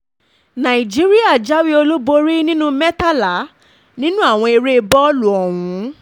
nàìjíríà jáwé olúborí nínú mẹ́tàlá um nínú àwọn eré bọ́ọ̀lù ọ̀hún